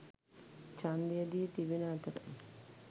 ඡන්දය දී තිබෙන අතර